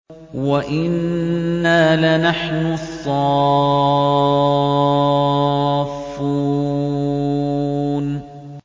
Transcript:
وَإِنَّا لَنَحْنُ الصَّافُّونَ